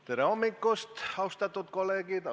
Tere hommikust, austatud kolleegid!